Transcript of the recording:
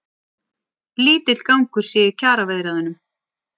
Lítill gangur sé í kjaraviðræðunum